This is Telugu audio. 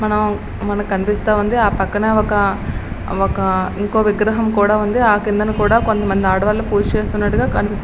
మనము మనకి కనిపిస్తూ ఉంది. ఆ పక్కన ఒక ఇంకో విగ్రహం కూడా ఉంది. ఆ కిందను కూడా కొంతమంది ఆడవాళ్లు పూజ చేస్తున్నట్టు కనిపిస్తుంది.